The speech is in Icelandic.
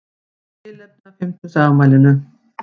Í tilefni af fimmtugsafmælinu